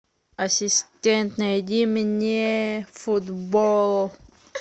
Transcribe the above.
ассистент найди мне футбол